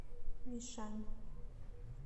мишань